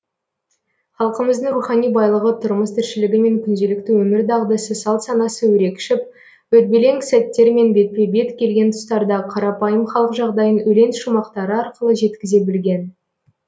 халқымыздың рухани байлығы тұрмыс тіршілігі мен күнделікті өмір дағдысы салт санасы өрекшіп өрбелең сәттермен бетпе бет келген тұстарда қарапайым халық жағдайын өлең шумақтары арқылы жеткізе білген